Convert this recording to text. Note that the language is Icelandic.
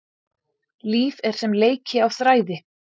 Líf er sem leiki á þræði.